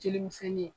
Jelimisɛnnin